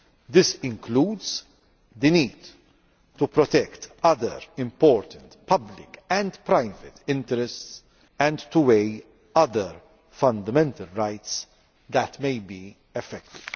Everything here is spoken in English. This includes the need to protect other important public and private interests and to weigh other fundamental rights that may be affected.